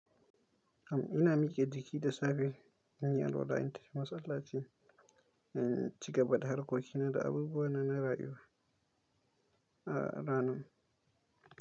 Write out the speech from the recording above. Am ina mike jiki da safe, in yi alwala, in tafi masallaci, in ci gaba da harkokina da abubuwa na na rayuwa a ranan.